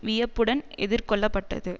வியப்புடன் எதிர்கொள்ளப்பட்டது